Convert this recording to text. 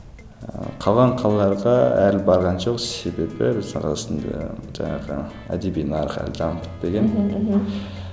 ыыы қалған қалаларға әлі барған жоқ себебі біз арасында жаңағы жан бітпеген мхм